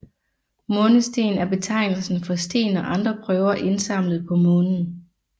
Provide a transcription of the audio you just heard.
Månesten er betegnelsen for sten og andre prøver indsamlet på Månen